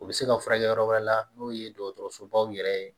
U bɛ se ka furakɛ yɔrɔ wɛrɛ la n'o ye dɔgɔtɔrɔsobaw yɛrɛ ye